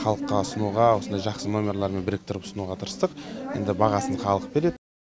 халыққа ұсынуға осындай жақсы нөмерлармен біріктіріп ұсынуға тырыстық енді бағасын халық береді